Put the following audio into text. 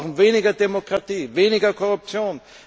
Wir brauchen mehr Demokratie, weniger Korruption.